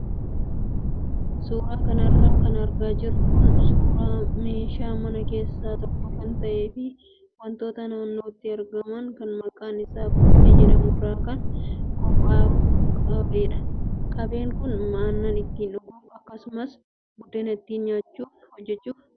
Suuraa kanarra kan argaa jirru kun suuraa meeshaa mana keessaa tokko kan ta'ee fi wantoota naannootti argaman kan maqaan isaa buqqee jedhamurraa kan qophaayu qabeedha. Qabeen kun aannan itti dhuguuf akkasumas buddena ittiin hojjachuuf oola.